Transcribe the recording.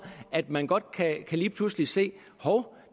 at man godt lige pludselig kan se at hov